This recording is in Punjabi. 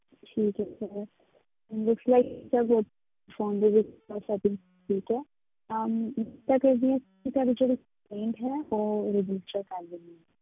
ਠੀਕ ਹੈ sir phone ਦੇ ਵਿੱਚ ਇਹ setting ਠੀਕ ਹੈ ਕਿ ਤੁਹਾਡੀ ਜਿਹੜੀ complaint ਹੈ register ਉਹ ਕਰ ਲਈ ਹੈ।